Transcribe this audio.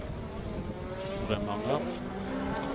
Bremanger